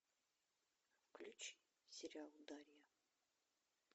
включи сериал дарья